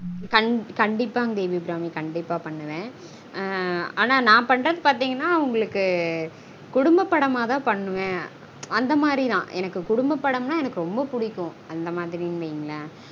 கண்டீப்பாங்க தேவி அபிராமி கண்டீப்பா பண்ணுவன் ஆஹ் நான் பண்ரது பார்த்தீங்கனா உங்களுக்கு குடும்ப படமா தான் பண்ணுவன் அந்த மாதிரி நான் எனக்கு குடும்ப படம்னா எனக்கு ரொம்ப புடிக்கும் அந்த மாதிரினு வைங்களன்